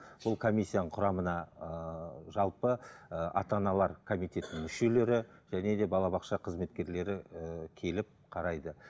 сол комиссияның құрамына ыыы жалпы ыыы ата аналар комитетінің мүшелері және де балабақша қызметкерлері ііі келіп қарайды